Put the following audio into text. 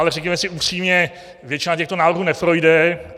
Ale řekněme si upřímně, většina těchto návrhů neprojde.